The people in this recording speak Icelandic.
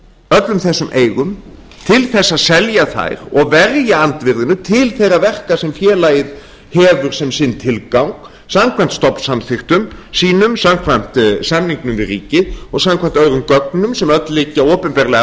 öllum þessum eigum til að selja þær eða verja andvirðinu til þeirra verka sem félagið hefur sem sinn tilgang samkvæmt stofnsamþykktum sínum samkvæmt samningum við ríkið og samkvæmt öðrum gögnum sem öll liggja opinberlega